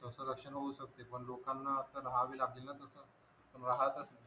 रक्षण होऊ सकते पण लोकांना अस राहावे लागेल तस राहत असते